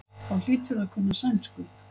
Þá hlýturðu að kunna sænsku.